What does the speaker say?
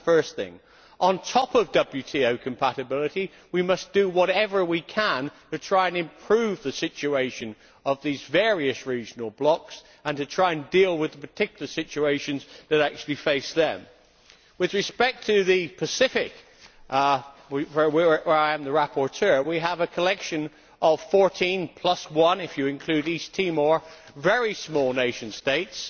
that it is the first thing. On top of WTO compatibility, we must do whatever we can to try and improve the situation of these various regional blocks and to try and deal with the particular situations that actually face them. With respect to the Pacific, for which I am the rapporteur, we have a collection of 14 plus one if you include East Timor very small nation states.